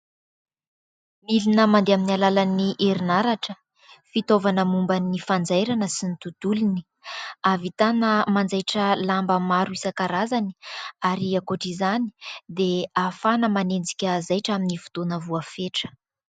Milina mandeha amin'ny alalan'ny herinaratra, fitaovana momba ny fanjairana sy ny tontolony. Ahavitana manjaitra lamba maro isan-karazany ary ankoatr'izany dia ahafahana manenjika zaitra amin'ny fotoana voafetra.